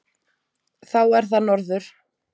Þá er það norður.